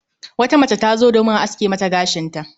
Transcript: Wata mace tazo domin a aske Mata gashinta